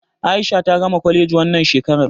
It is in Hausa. A'isha ta gama kwaleji wannan shekarar.